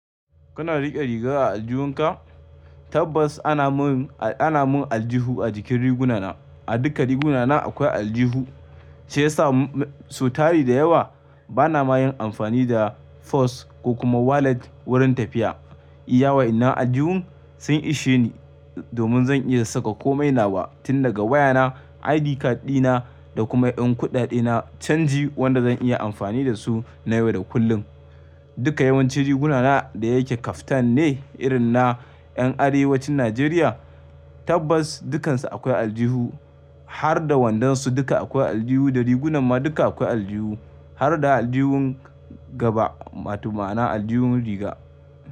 Kana riƙe riga a aljihunka? Tabbas ana mun, ana mun aljihu a jikin riguna na. A duka riguna na akwai aljihu, sai ya sa sau tari da yawa bana ma yin amfani da purse ko kuma wallet wurin tafiya. Iya wa in nan aljihun sun ishe ni domin zan iya saka komai nawa tun daga waya na, ID card dina da kuma ƴan kuɗaɗe na canji wanda zan iya amfani da su na yau da kullum. Duka yawanci riguna na da yake kaftan ne irin na ƴan Arewacin Nijeriya, tabbas dukkansu akwai aljihu har da wandansu duka akwai aljihu da rigunan ma duka akwai aljihu har da aljihun gaba, watau ma'ana aljihun riga.